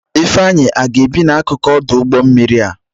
Ifeanyi aga-ebi n'akụkụ ọdụ ụgbọ mmiri a?